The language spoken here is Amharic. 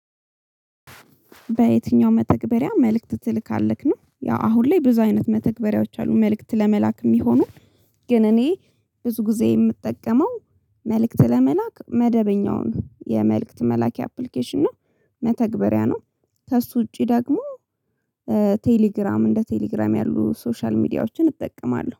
በየትኛው መተግበሪያ መልእክት ትልካለክ ነው ያው አሁን ላይ ብዙ አይነት መተግበሪያዎች አሉ መልእክት ለመላክ የሚሆነው። ግን እኔ ብዙ ጊዜ የምጠቀመው መልእክት ለመላክ መደበኛውን የመልእክት መላኪ አፕሊኬሽን ነው። መተግበሪያ ነው። ከእሱ ውጪ ደግሞ ቴሌግራም እንደ ቴሌግራም ያሉ ሶሻል ሚዲያዎችን እጠቀማለሁ